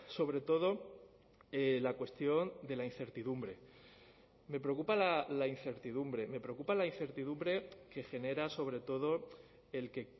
sobre todo la cuestión de la incertidumbre me preocupa la incertidumbre me preocupa la incertidumbre que genera sobre todo el que